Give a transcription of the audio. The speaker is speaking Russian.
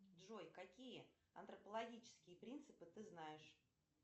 джой какие антропологические принципы ты знаешь